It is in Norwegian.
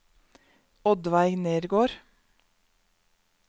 Oddveig Nergård